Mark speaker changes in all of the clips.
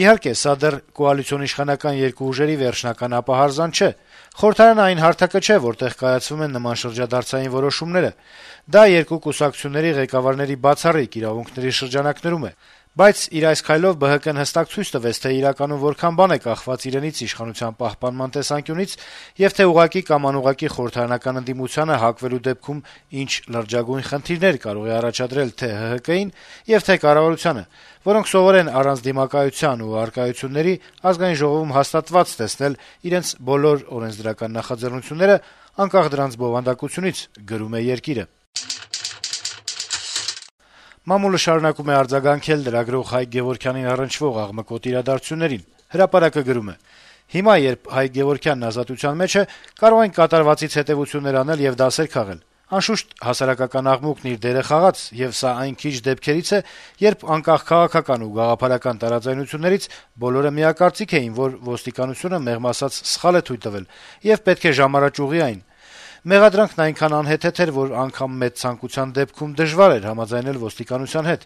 Speaker 1: «Իհարկե, սա դեռ կոալիցիոն իշխանական երկու ուժերի վերջնական ապահարզանը չէ: Խորհրդարանն այն հարթակը չէ, որտեղ կայացվում են նման շրջադարձային որոշումներ: Դա երկու կուսակցությունների ղեկավարների բացառիկ իրավունքների շրջանակներում է: Բայց իր այս քայլով ԲՀԿ-ն հստակ ցույց տվեց, թե իրականում որքան բան է կախված իրենից` իշխանության պահպանման տեսանկյունից, եւ թե ուղղակի կամ անուղղակի խորհրդարանական ընդդիմությանը հակվելու դեպքում ինչ լրջագույն խնդիրներ կարող է առաջադրել թե՛ ՀՀԿ-ին եւ թե՛ կառավարությանը, որոնք սովոր են առանց դիմակայության ու առարկությունների ԱԺ-ում հաստատված տեսնել իրենց բոլոր օրենսդրական նախաձեռնությունները` անկախ դրանց բովանդակությունից»: Մամուլը շարունակում է արձագանքել լրագրող Հայկ Գեւորգյանին առնչվող աղմկոտ իրադարձություններին: «Հրապարակ»-ը գրում է. - «Հիմա, երբ Հայկ Գեւորգյանն ազատության մեջ է, կարող ենք կատարվածից հետեւություններ անել եւ դասեր քաղել: Անշուշտ, հասարակական աղմուկն իր դերը խաղաց, եւ սա այն քիչ դեպքերից է, երբ, անկախ քաղաքական ու գաղափարական տարաձայնություններից, բոլորը միակարծիք էին, որ ոստիկանությունը, մեղմ ասած, սխալ է թույլ տվել եւ պետք է ժամ առաջ ուղղի այն: Մեղադրանքն այնքան անհեթեթ էր, որ անգամ մեծ ցանկության դեպքում դժվար էր համաձայնել ոստիկանության հետ: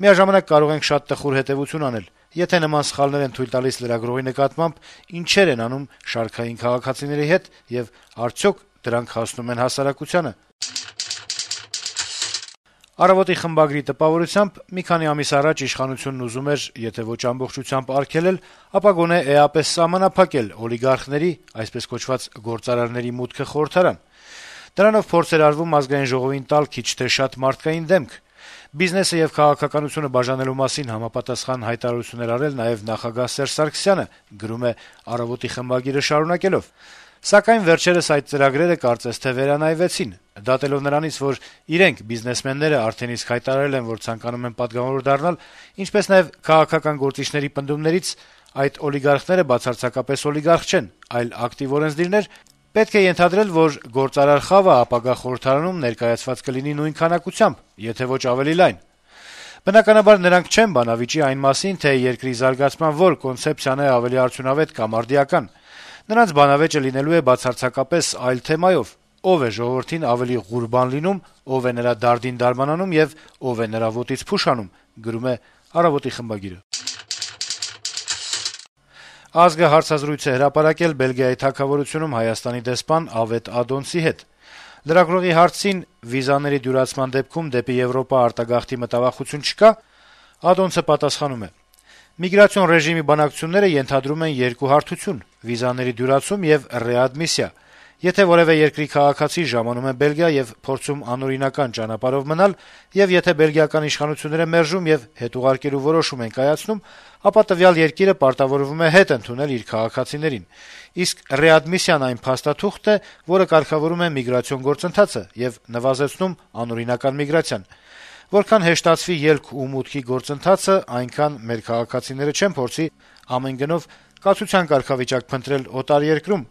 Speaker 1: Միաժամանակ՝ կարող ենք շատ տխուր հետեւություն անել՝ եթե նման սխալներ են թույլ տալիս լրագրողի նկատմամբ, ինչե՜ր են անում շարքային քաղաքացիների հետ, եւ արդյո՞ք դրանք հասնում են հասարակությանը»: «Մի քանի ամիս առաջ իշխանությունն ուզում էր եթե ոչ ամբողջությամբ արգելել, ապա գոնե էապես սահմանափակել օլիգարխների (այսպես կոչված՝ «գործարարների») մուտքը խորհրդարան», - իր տպավորությունն է փոխանցում «Առավոտ»-ի խմբագիրը` շարունակելով. - «Դրանով փորձ էր արվում Ազգային ժողովին տալ քիչ թե շատ «մարդկային դեմք»: Բիզնեսը եւ քաղաքականությունը բաժանելու մասին համապատասխան հայտարարություն էր արել նաեւ նախագահ Սերժ Սարգսյանը: Սակայն վերջերս այդ ծրագրերը, կարծես թե, վերանայվեցին: Դատելով նրանից, որ իրենք՝ բիզնեսմենները, արդեն իսկ հայտարարել են, որ ցանկանում են պատգամավոր դառնալ, ինչպես նաեւ քաղաքական գործիչների պնդումներից, այդ օլիգարխները բացարձակապես օլիգարխ չեն, այլ ակտիվ օրենսդիրներ, պետք է ենթադրել, որ «գործարար խավը» ապագա խորհրդարանում ներկայացված կլինի նույն քանակությամբ, եթե ոչ՝ ավելի լայն: Բնականաբար, նրանք չեն բանավիճի այն մասին, թե երկրի զարգացման որ կոնցեպցիան է ավելի արդյունավետ կամ արդիական: Նրանց «բանավեճը» լինելու է բացարձակապես այլ թեմայով՝ ով է ժողովրդին ավելի «ղուրբան լինում», ով է նրա «դարդին դարման անում» եւ ով է նրա «ոտից փուշ հանում»»: «Ազգ»-ը հարցազրույց է հրապարակել Բելգիայի թագավորությունում Հայաստանի դեսպան Ավետ Ադոնցի հետ: Լրագրողի հարցին, թե վիզաների դյուրացման դեպքում, դեպի Եվրոպա արտագաղթի մտավախություն չկա, դեսպանը պատասխանել է. - «Միգրացիոն ռեժիմի բանակցությունները ենթադրում են երկու հարթությունՙ վիզաների դյուրացում եւ ռեադմիսիա: Եթե որեւէ երկրի քաղաքացի ժամանում է Բելգիա եւ փորձում անօրինական ճանապարհով մնալ, եւ եթե Բելգիական իշխանությունները մերժում եւ հետ ուղարկելու որոշում են կայացնում, ապա տվյալ երկիրը պարտավորվում է հետ ընդունել իր քաղաքացիներին: Իսկ ռեադմիսիան այն փաստաթուղթն է, որը կարգավորում է միգրացիոն գործընթացը եւ նվազեցնում անօրինական միգրացիան: Որքան հեշտացվի ելք ու մուտքի գործընթացը, այնքան մեր քաղաքացիները չեն փորձի ամեն գնով կացության կարգավիճակ փնտրել օտար երկրներում»: